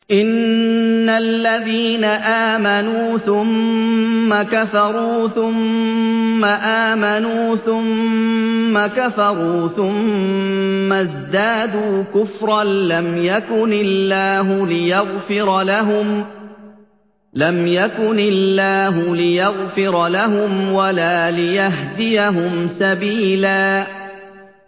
إِنَّ الَّذِينَ آمَنُوا ثُمَّ كَفَرُوا ثُمَّ آمَنُوا ثُمَّ كَفَرُوا ثُمَّ ازْدَادُوا كُفْرًا لَّمْ يَكُنِ اللَّهُ لِيَغْفِرَ لَهُمْ وَلَا لِيَهْدِيَهُمْ سَبِيلًا